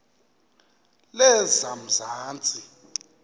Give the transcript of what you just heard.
lezamanzi